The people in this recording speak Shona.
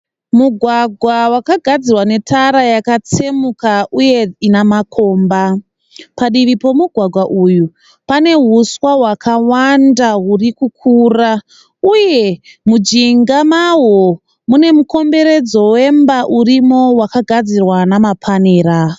Mugwagwa wakagadzirwa netara yakatsemuka uye ina makomba. Padivi pomugwagwa uyu pane uswa hwakawanda huri kukura. Uye mujinga mahwo mune mukomberedzo wemba urimo wakagadzirwa namapanera.